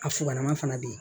A fugalaman fana be ye